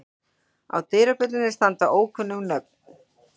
Á dyrabjöllunum standa ókunnug nöfn.